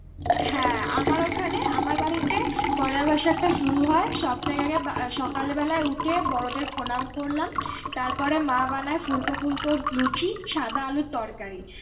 হ্যাঁ আমার ওখানে আমার বাড়িতে পয়লা বৈশাখটা শুরু হয় সবথেকে আগে সকাল বেলায় উঠে বড়দের প্রনাম করলাম তারপরে মা বানায় ফুলকো ফুলকোর লুচি সাদা আলুর তরকারি